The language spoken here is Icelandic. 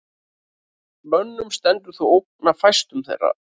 Mönnum stendur þó ógn af fæstum þeirra.